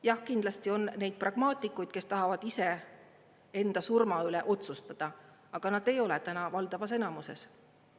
Jah, kindlasti on neid pragmaatikuid, kes tahavad ise enda surma üle otsustada, aga nad ei ole täna valdavas enamuses.